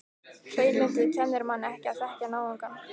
Hreinlyndið kennir manni ekki að þekkja náungann.